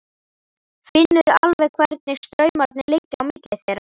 Finnur alveg hvernig straumarnir liggja á milli þeirra.